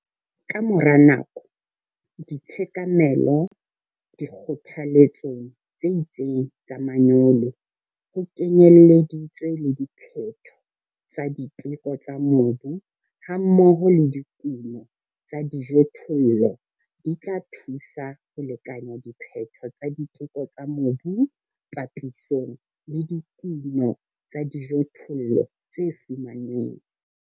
Ka mora nako, ditshekamelo dikgothaletsong tse itseng tsa manyolo ho kenyelleditswe le diphetho tsa diteko tsa mobu hammoho le dikuno tsa dijothollo, di tla thusa ho lekanya diphetho tsa diteko tsa mobu papisong le dikuno tsa dijothollo tse fumanweng.